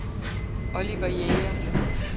Oliver Jæger